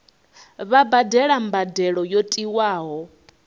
vha badele mbadelo yo tiwaho